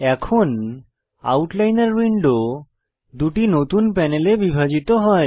এখন আউটলাইনর উইন্ডো দুটি নতুন প্যানেলে বিভাজিত হয়